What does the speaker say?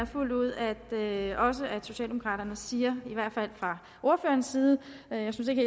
fuldt ud at socialdemokraterne siger i hvert fald fra ordførerens side jeg synes ikke